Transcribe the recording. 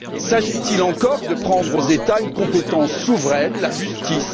S'agit il encore de prendre aux États une compétence souveraine, à savoir la justice?